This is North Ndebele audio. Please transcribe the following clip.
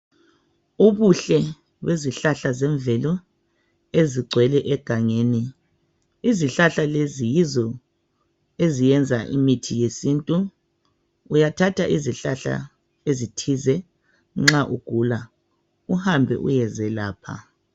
Ubuhle bezihlahla zemvelo ezigcwele egangeni. Izihlahla lezi yizo eziyenza imithi yesintu. Uyathatha izihlahla ezithize nxa ugula uhambe uyezelapha.